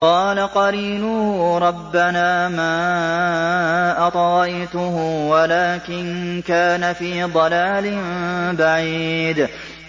۞ قَالَ قَرِينُهُ رَبَّنَا مَا أَطْغَيْتُهُ وَلَٰكِن كَانَ فِي ضَلَالٍ بَعِيدٍ